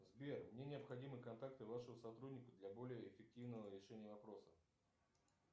сбер мне необходимы контакты вашего сотрудника для более эффективного решения вопроса